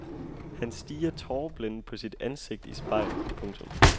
Han stirrer tåreblændet på sit ansigt i spejlet. punktum